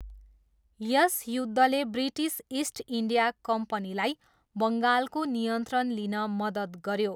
यस युद्धले British East India कम्पनीलाई बङ्गालको नियन्त्रण लिन मद्दत गऱ्यो।